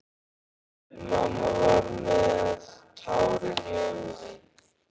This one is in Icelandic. Mamma var með tárin í augunum.